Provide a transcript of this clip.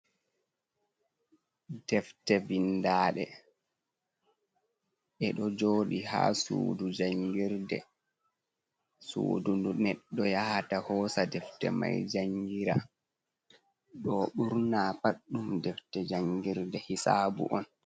Defte vindaɗe ɗeɗo joɗi ha sudu jangirde. Sudu ndu neɗɗo yahata hosa defte mai jangira. Ɗo ɓurna pat ɗum defte jangirde hisabu on.